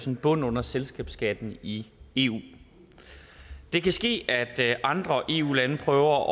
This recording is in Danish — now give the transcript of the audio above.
en bund under selskabsskatten i eu det kan ske at andre eu lande prøver